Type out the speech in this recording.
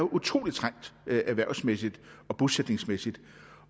utrolig trængte erhvervsmæssigt og bosætningsmæssigt